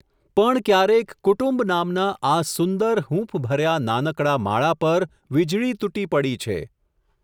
પણ ક્યારેક કુટુંબ નામના આ સુંદર, હૂંફભર્યા નાનકડા માળા પર વીજળી તૂટી પડી છે.